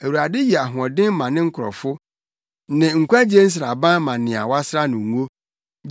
Awurade yɛ ahoɔden ma ne nkurɔfo; ne nkwagye nsraban ma nea wɔasra no ngo.